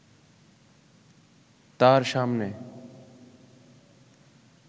তার সামনে